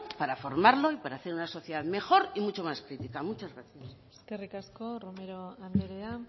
para formarlo y para hacer una sociedad mejor y mucho más crítica muchas gracias eskerrik asko romero andrea